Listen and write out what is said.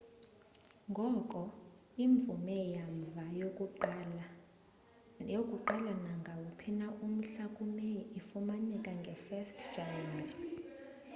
ngoko imvume yamva yokuqala nangawuphi na umhla ku meyi ifumaneka nge 1 jan